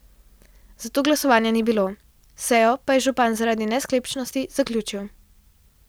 Zato glasovanja ni bilo, sejo pa je župan zaradi nesklepčnosti zaključil.